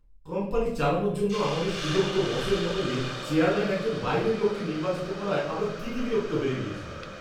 Company চালানোর জন্য আমাদের সুযোগ্য বসের বদলে চেয়ারম্যান একজন বাইরের লোককে নির্বাচিত করায় আমরা তিতিবিরক্ত হয়ে গিয়েছিলাম।